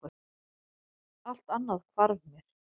Allt annað hvarf mér.